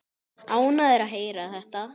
Ánægður að heyra þetta.